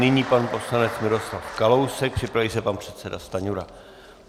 Nyní pan poslanec Miroslav Kalousek, připraví se pan předseda Stanjura.